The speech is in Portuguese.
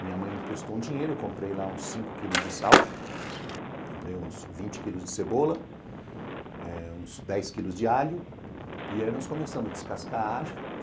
Minha mãe me prestou um dinheiro, eu comprei lá uns cinco quilos de sal, comprei uns vinte quilos de cebola, eh uns dez quilos de alho e aí nós começamos a descascar alho.